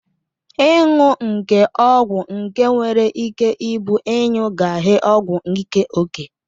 Ọnwụ nke ọgwụ ike nwere ike ibu inyugaghe ọgwụ ike oke.